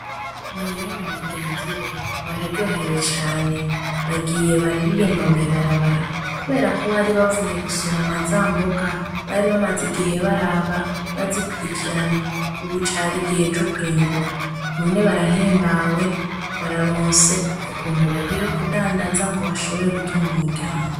Mariya na bagenzi be bararyohewe cane, bagiye bararirirmba mw'ibarabara kuberako bari bavuye gusoroma za mboga bari bamaze igihe baraba bazikurikirana, ubu cari igihe co kwimbura. None barahimbawe, bararonse ukuntu bagiye kudandaza ngo bashobore gutunga umuryango.